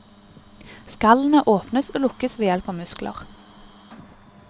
Skallene åpnes og lukkes ved hjelp av muskler.